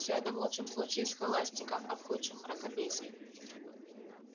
все это в лучшем случае схоластика а в худшем мракобесие